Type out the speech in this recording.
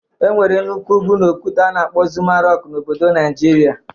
E nwere nnukwu ugwu na okwute a na-akpọ Zuma rọk na obodo Naịjirịa.